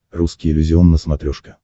русский иллюзион на смотрешке